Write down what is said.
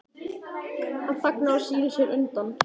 Hann þagnar og snýr sér undan.